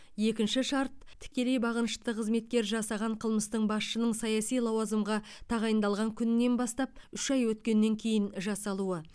екінші шарт тікелей бағынышты қызметкер жасаған қылмыстың басшының саяси лауазымға тағайындалған күнінен бастап үш ай өткеннен кейін жасалуы